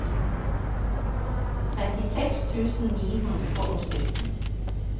trettiseks tusen ni hundre og sytten